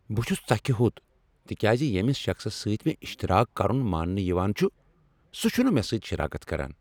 بہٕ چُھس ژکھِ ہوٚت تکیاز ییمِس شخصس سۭتۍ مےٚاشتراک کرُن ماننہٕ یوان چُھ سُہ چُھنہٕ مےٚ سۭتۍ شراکت کران۔